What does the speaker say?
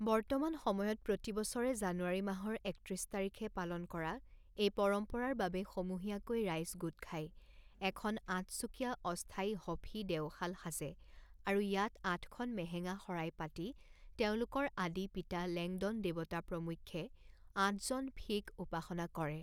বৰ্তমান সময়ত প্ৰতিবছৰে জানুৱাৰী মাহৰ একত্ৰিছ তাৰিখে পালন কৰা এই পৰম্পৰাৰ বাবে সমূহীয়াকৈ ৰাইজ গোট খাই এখন আঠচুকীয়া অস্থায়ী হ ফী দেউশাল সাজে আৰু ইয়াত আঠখন মেহেঙা শৰাই পাতি তেওঁলোকৰ আদি পিতা লেংডন দেৱতা প্ৰমুখ্যে আঠজন ফী ক উপাসনা কৰে।